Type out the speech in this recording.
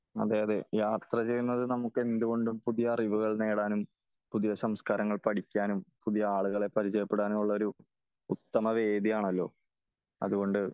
അതേ അതേ യാത്ര ചെയ്യുന്നത് നമുക്ക് എന്തുകൊണ്ടും പുതിയ അറിവുകൾ നേടാനും പുതിയ സംസ്കാരങ്ങൾ പടിക്കാനും പുതിയ ആളുകളെ പരിചയപ്പെടാനും ഉള്ള ഒരു ഉത്തമ വേദിയാണല്ലോ ? അത്കൊണ്ട്